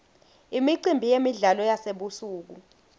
imicimbi yemidlalo yasebusuku